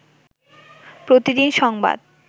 প্রতিদিন সংবাদ